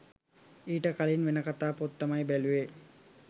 ඊට කලින් වෙන කතා පොත් තමයි බැලුවේ